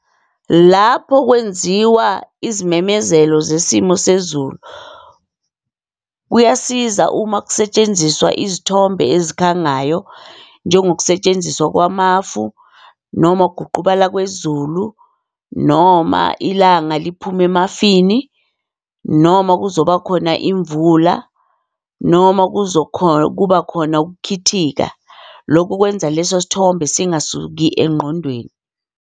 Lapho kwenziwa izimemezelo zesimo sezulu, kuyasiza uma kusetshenziswa izithombe ezikhangayo njengokusetshenziswa kwamafu, noma ukuguqubala kwezulu, noma ilanga liphuma emafini, noma kuzoba khona imvula, noma kuba khona ukukhithika. Loku kwenza leso sithombe singasuki engqondweni.